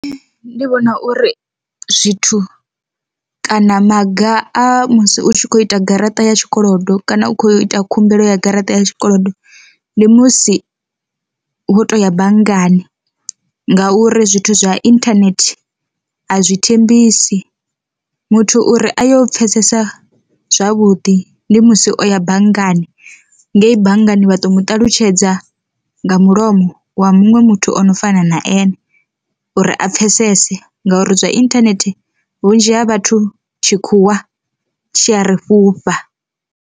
Ndi vhona uri zwithu kana maga a musi u tshi kho ita garaṱa ya tshikolodo kana u kho ita khumbelo ya garaṱa ya tshikolodo, ndi musi wo to ya banngani ngauri zwithu zwa internet azwi thembisi. Muthu uri a yo pfesesa zwavhuḓi ndi musi o ya banngani, ngei banngani vha to muṱalutshedza nga mulomo wa muṅwe muthu ono fana na ane uri a pfhesese, ngauri zwa inthanethe vhunzhi ha vhathu tshikhuwa tshi a ri fhufha.